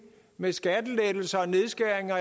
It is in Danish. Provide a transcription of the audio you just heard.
med skattelettelser og nedskæringer